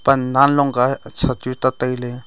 pan nanlong ka sha chu te tailey.